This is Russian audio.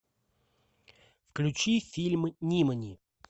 включи фильм нимани